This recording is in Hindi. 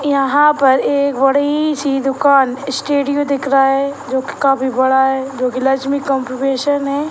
यहाँ पर एक बड़ी सी दूकान स्टूडियो दिख रहा है जो कि काफी बड़ा है जो कि लक्ष्मी कम्युनिकेशन है।